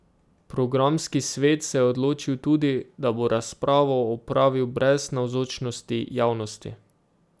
Programski svet se je odločil tudi, da bo razpravo opravil brez navzočnosti javnosti.